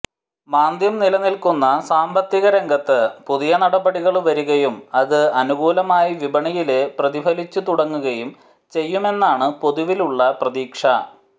മാന്ദ്യം നിലനില്ക്കുന്ന സാമ്പത്തിക രംഗത്ത് പുതിയ നടപടികള് വരികയും അത് അനുകൂലമായി വിപണിയില് പ്രതിഫലിച്ചു തുടങ്ങുകയും ചെയ്യുമെന്നാണ് പൊതുവിലുള്ള പ്രതീക്ഷ